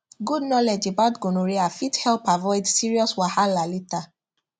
good knowledge about gonorrhea fit help avoid serious wahala later